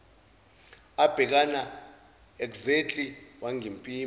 abhekana exactly wangimpimpa